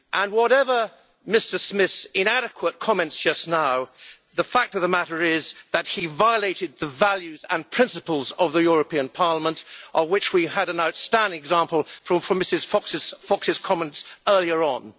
Whatever Mr Smith's inadequate comments just now, the fact of the matter is that he has violated the values and principles of the European Parliament, of which we had an outstanding example from Mr Fox's comments earlier on.